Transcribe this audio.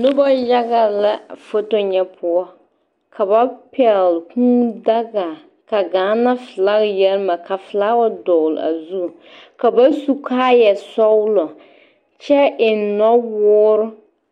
Noba yaga la foto ŋa poɔ ka ba pɛgle Kūū daga ka Gaana filagi yɛ mare ka filawa dɔgle a zu ka ba su kaayasɔglɔ kyɛ eŋ nɔwoore